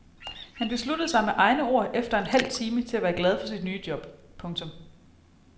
Han besluttede sig med egne ord efter en halv time til at være glad for sit nye job. punktum